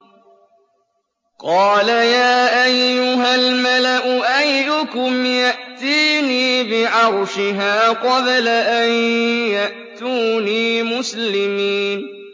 قَالَ يَا أَيُّهَا الْمَلَأُ أَيُّكُمْ يَأْتِينِي بِعَرْشِهَا قَبْلَ أَن يَأْتُونِي مُسْلِمِينَ